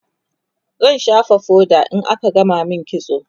zan shafa foda in aka gama min kitso